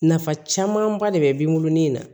Nafa camanba de be bin na